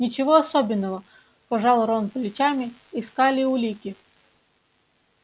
ничего особенного пожал рон плечами искали улики